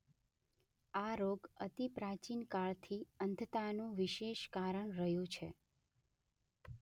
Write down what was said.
આ રોગ અતિ પ્રાચીન કાળથી અંધતા નું વિશેષ કારણ રહ્યો છે.